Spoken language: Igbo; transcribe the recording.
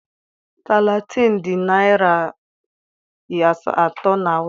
Talatin dị naira iri atọ na awụsa.